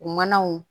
U manaw